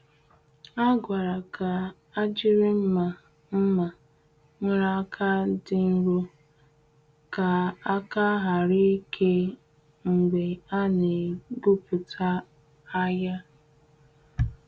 Ha gwara ka a jiri mma mma nwere aka dị nro ka aka ghara ike mgbe a na-egwupụta ahịa.